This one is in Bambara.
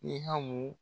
I hamu